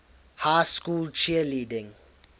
high school cheerleading